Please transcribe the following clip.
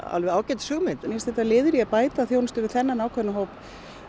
alveg ágætis hugmynd mér finnst þetta liður í að bæta þjónustuna við þennan ákveðna hóp